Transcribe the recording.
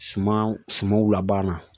Suman sumanw lab